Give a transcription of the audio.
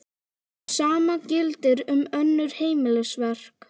Hið sama gildir um önnur heimilisverk.